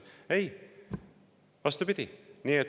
Ei, vastupidi.